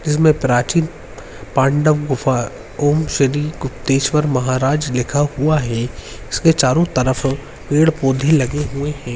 जिसमे प्राचीन पांडव गुफा ओम श्री गुप्तेश्वर महाराज लिखा हुआ है उसके चारो तरफ पेड़-पोधे लगे हुए हैं।